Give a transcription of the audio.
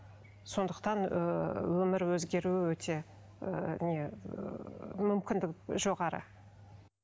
сондықтан ыыы өмір өзгеруі өте ыыы не ыыы мүмкіндік жоғары